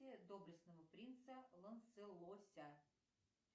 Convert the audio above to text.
доблестного принца лонселося